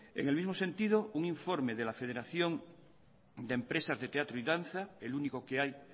en el mismo sentido un informe de la federación de empresas de teatro y danza el único que hay